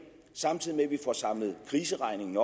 samtidig med at vi får samlet kriseregningen